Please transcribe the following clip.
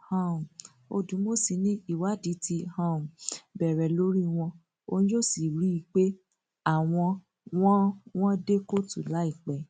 um odùmọsí ni ìwádìí ti um bẹrẹ lórí wọn òun yóò sì rí i pé àwọn wọn wọn dé kóòtù láìpẹ